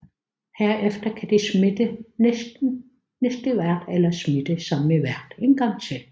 Herefter kan de smitte næste vært eller smitte samme vært en gang til